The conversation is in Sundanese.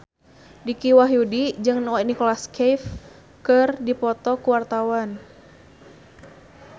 Dicky Wahyudi jeung Nicholas Cafe keur dipoto ku wartawan